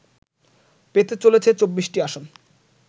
পেতে চলেছে ২৪টি আসন